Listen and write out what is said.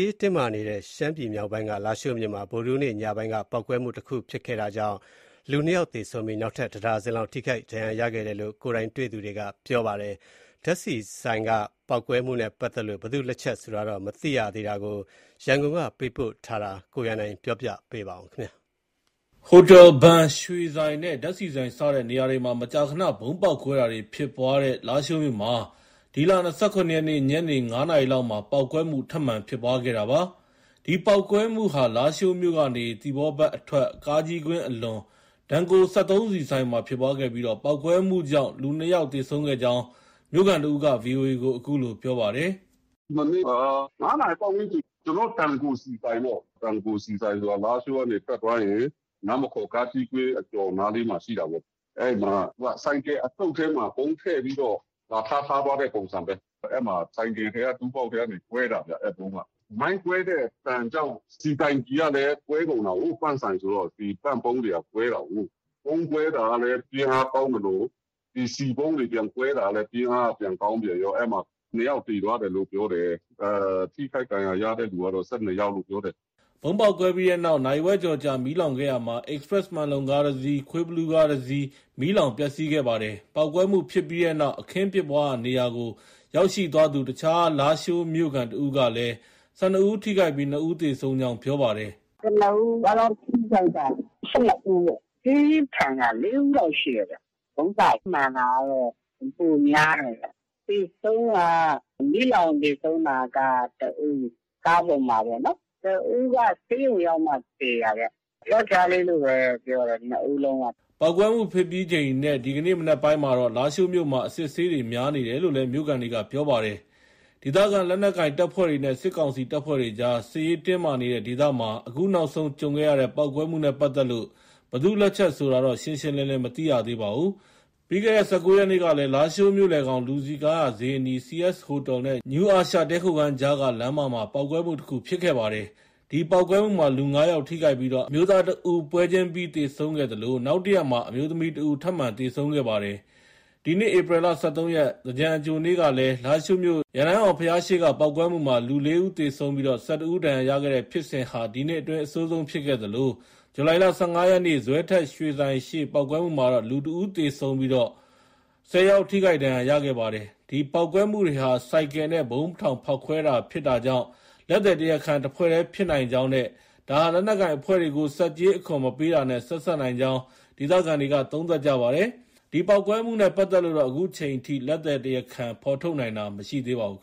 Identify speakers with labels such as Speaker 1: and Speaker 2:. Speaker 1: းတင်းမာနေတဲ့ ရှမ်းပြည်မြောက်ပိုင်းက လားရှိုးမြို့မှာ ဗုဒ္ဓဟူးနေ့ ညနေပိုင်းက ပေါက်ကွဲမှုတခု ဖြစ်ခဲ့တာကြောင့် လူ ၂ ယောက် သေဆုံးပြီး နောက်ထပ် ၁ ဒါဇင်လောက် ထိခိုက်ဒဏ်ရာရခဲ့တယ်လို့ ကိုယ်တိုင်တွေ့သူတွေက ပြောပါတယ်။ စက်သုံးဆီဆိုင်က ပေါက်ကွဲမှုနဲ့ ပတ်သက်လို့ ဘယ်သူ့လက်ချက်ဆိုတာတော့ မသိရသေးပါဘူး။ ဒီအကြောင်း ရန်ကုန်က သတင်းပေးပို့ ထားတာကို ကိုရန်နိုင် ပြောပြပေးမှာပါ။ ဟိုတယ်၊ ဘဏ်၊ ရွှေဆိုင်နဲ့ ဓါတ်ဆီဆိုင် စတဲ့ နေရာတွေမှာ မကြာခန ဗုံးပေါက်ကွဲတာတွေ ဖြစ်ပွားတဲ့ လားရှိုးမြို့မှာ ဒီလ ၂၇ ရက်နေ့ ညနေ ၅နာရီလောက်မှာ ပေါက်ကွဲမှု ထပ်မံဖြစ်ပွားခဲ့တာပါ။ ဒီပေါက်ကွဲမှုဟာ လားရှိုးမြို့ကနေ သီပေါဘက်အထွက် ကားကြီးကွင်းအလွန်က Denko စက်သုံးဆီဆိုင်မှာ ဖြစ်ပွားခဲ့ပြီး ပေါက်ကွဲမှုကြောင့် လူ ၂ယောက်သေဆုံးခဲ့ကြောင်း မြို့ခံတစ်ဦးက VOA ကို အခုလို ပြောပါတယ်။
Speaker 2: “ မနေ့က ၅နာရီပတ်ဝန်းကျင် ကျနော်တို့ Denko ဆီဆိုင်ပေါ့။ Denko ဆီဆိုင်ဆိုတာ လားရှိုးက နေထွက်သွားရင် နားမခေါ်ကားကြီးကွင်း အကျော်နားလေးမှာ ရှိတာပေါ့။ အဲဒီမှာ ဆိုင်ကယ်အစုတ်ထဲမှာ ဗုံးထည့်ပြီးတော့ လာထား ထားသွားတဲ့ ပုံစံပဲ။ အဲဒီမှာ ဆိုင်ကယ်ထဲက Tool Box ထဲကနေ ကွဲတာဗျ။ အဲဒီဗုံးက။ မိုင်းကွဲတဲ့အသံကြောင့် ဆီတိုင်ကီကလည်းကွဲကုန်တာကို Pump ဆိုင်ဆိုတော့ ဒီ Pump ပုံးတွေက ကွဲတာကိုး။ ဗုံးကွဲတာကလည်း ပြင်းအားကောင်းသလို ဒီဆီပုံးတွေ ပြန်ကွဲတာကလည်း ပြင်းအားက ပြန်ကောင်းပြန်ရော၊ အဲဒီမှာ ၂ယောက်သေသွားတယ်လို့ ပြောတယ်။ ထိခိုက်ဒဏ်ရာရတဲ့သူကတော့ ၁၂ယောက်လို့ ပြောတယ်။
Speaker 1: ” ဗုံးပေါက်ကွဲပြီးနောက် နာရီဝက်ကျော်ကြာ မီးလောင်ခဲ့ရာမှာ Express မှန်လုံကားတစီး၊ ခွေးဘီလူးကားတစီး မီးလောင်ပျက်စီးခဲ့ပါတယ်။ ပေါက်ကွဲမှုဖြစ်ပြီးနောက် အခင်းဖြစ်ပွားရာနေရာကို ရောက်ရှိသွားသူ အခြား လားရှိုးမြို့ခံ တဦးကလည်း ၁၂ဦး ထိခိုက်ပြီး ၂ဦးသေဆုံးကြောင်း ပြောပါတယ်။
Speaker 2: “ ကနဦး အားလုံး ထိခိုက်တာ ၁၂ဦးပေါ့။ ပြင်းထန်တာ ၄ဦးလောက်ရှိတယ်ဗျ။ ဗုံးစမှန်တာကတော့ ပိုများတယ်ဗျ။ သေဆုံးက မီးလောင်သေဆုံးတာက တဦး။ ကားပေါ်မှာပေါ့နော်။ တဦးက ဆေးရုံရောက်မှ သေတာဗျ။ ယောက်ျားလေးလို့ပဲ ပြောတယ်
Speaker 1: ။ ၂ဦးလုံးက။ ” ပေါက်ကွဲမှုဖြစ်ပြီးချိန်နဲ့ ဒီကနေ့ မနက်ပိုင်းမှာတော့ လားရှိုးမြို့မှာ အစစ်အဆေးတွေများပားနေတယ်လို့လည်း မြို့ခံတွေက ပြောပါတယ်။ ဒေသခံ လက်နက်ကိုင် တပ်ဖွဲ့တွေနဲ့ စစ်ကောင်စီ တပ်ဖွဲ့တွေကြား စစ်ရေးတင်းမာနေတဲ့ ဒေသမှာ အခုနောက်ဆုံး ကြုံခဲ့ရတဲ့ ပေါက်ကွဲမှုနဲ့ ပတ်သက်လို့ ဘယ်သူ့လက်ချက် ဆိုတာတော့ ရှင်းရှင်းလင်းလင်း မသိရသေးပါဘူး။ ပြီးခဲ့တဲ့ ၁၉ရက်နေ့ကလည်း လားရှိုးမြို့လယ်ခေါင် လူစည်းကားရာ ဈေးအနီး CS ဟိုတယ်နဲ့ နယူးအာရှ တည်းခိုခန်းကြားက လမ်းမှာ ပေါက်ကွဲမှုတခုဖြစ်ခဲ့ပါတယ်။ ဒီပေါက်ကွဲမှုမှာ လူ ၅ယောက်ထိခိုက်ပြီး အမျိုးသား တဦးပွဲချင်းပြီး သေဆုံးခဲ့သလို နောက်တရက်မှာ အမျိုးသမီးတဦး ထပ်မံ သေဆုံးခဲ့ပါတယ်။ ဒီနှစ်ဧပြီလ ၁၃ရက်၊ သင်္ကြန်အကြိုနေ့က လားရှိုးမြို့ ရန်တိုင်းအောင်ဘုရားရှေ့ ပေါက်ကွဲမှုမှာ လူ ၄ဦးသေဆုံးပြီး ၁၁ဦး ဒဏ်ရာရတဲ့ဖြစ်စဉ်ဟာ ဒီနှစ်အတွင်း အဆိုးဆုံးဖြစ်ခဲ့သလို ဇူလိုင်လ ၁၅ရက်နေ့ ဇွဲထက်ရွှေဆိုင်ရှေ့ပေါက်ကွဲမှုမှာတော့ လူ ၁ဦးသေဆုံးပြီး လူ ၁၀ယောက်ထိခိုက်ခဲ့ပါတယ်။ ဒီပေါက်ကွဲမှုတွေဟာ ဆိုင်ကယ်နဲ့ ဗုံးထောင်ဖောက်ခွဲတာဖြစ်တာကြောင့် လက်သည်တရားခံ တဖွဲ့တည်းဖြစ်နိုင်ကြောင်း နဲ့ ဒါဟာ လက်နက်ကိုင်အဖွဲ့တွေကို ဆက်ကြေး အခွန် မပေးတာနဲ့ ဆက်စပ်နိုင်ကြောင်း ဒေသခံတွေက သုံးသပ်ကြပါတယ်။ဒီပေါက်ကွဲမှုတွေနဲ့ပတ်သက်လို့တော့ လက်သည်တရားခံဖော်ထုတ်နိုင်တာမရှိပါဘူး